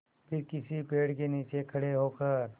फिर किसी पेड़ के नीचे खड़े होकर